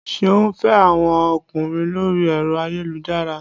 Ṣeun ń fẹ́ àwọn ọkùnrin lórí ẹ̀rọ ayélujára